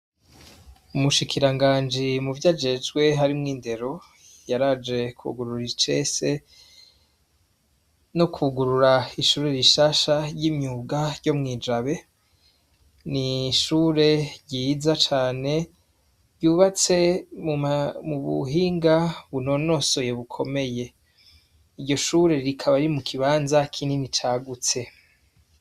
Umushikiranganji muvyo ajejwe harimwo indero yaraje kugurura icese no kugurura ishure rishasha ry'imyuga ryo mu Ijabe, ni ishure ryiza cane ryubatse mu buhinga bunonosoye bukomeye, iryo shure rikaba riri mu kibanza kinini cagutse.